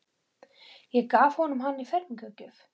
Ég gaf honum hann í fermingargjöf.